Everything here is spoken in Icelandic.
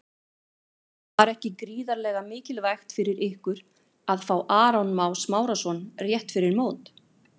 Var ekki gríðarlega mikilvægt fyrir ykkur að fá Aron Má Smárason rétt fyrir mót?